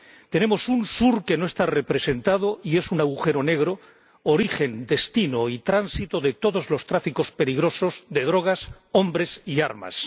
Tenemos un sur que no está representado y es un agujero negro, origen, destino y tránsito de todos los tráficos peligrosos de drogas, hombres y armas.